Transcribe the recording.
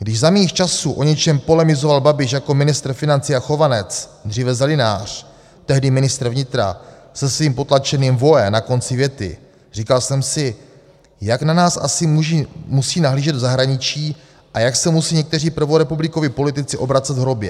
Když za mých časů o něčem polemizoval Babiš jako ministr financí a Chovanec, dříve zelinář, tehdy ministr vnitra se svým potlačeným 'voe' na konci věty, říkal jsem si, jak na nás asi musí nahlížet v zahraničí a jak se musí někteří prvorepublikoví politici obracet v hrobě.